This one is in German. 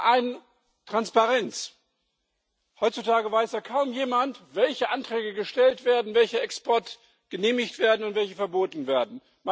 Zum einen Transparenz Heutzutage weiß ja kaum jemand, welche Anträge gestellt, welche Exporte genehmigt und welche verboten werden.